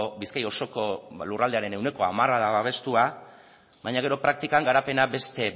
bizkai osoko lurraldearen ehuneko hamara babestua baina gero praktikan garapena